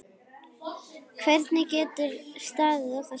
Hvernig getur staðið á þessu.